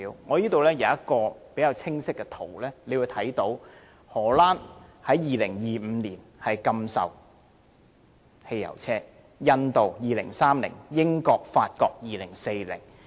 我這裏有一個較清晰的圖表，大家可以看到荷蘭將於2025年禁售汽油車，印度是2030年，英國和法國則是2040年。